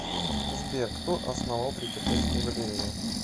сбер кто основал третьяковскую галлерею